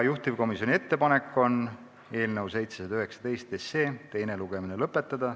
Juhtivkomisjoni ettepanek on eelnõu 719 teine lugemine lõpetada.